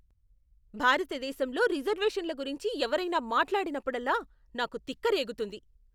భారతదేశంలో రిజర్వేషన్ల గురించి ఎవరైనా మాట్లాడినప్పుడల్లా నాకు తిక్క రేగుతుంది.